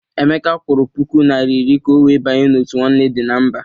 Emeka kwụrụ puku naịra iri ka ọ wee banye n'òtù Nwanne Dị na Mba.